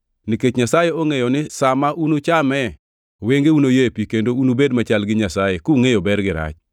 Nikech Nyasaye ongʼeyo ni sa ma unuchame wengeu noyepi kendo unubed machal gi Nyasaye, kungʼeyo ber gi rach.”